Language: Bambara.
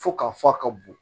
Fo ka fɔ a ka bon